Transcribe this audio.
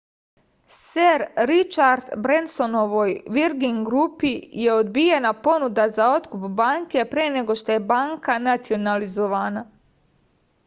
ser ričard brensonovoj virgin grupi je odbijena ponuda za otkup banke pre nego što je banka nacionalizovana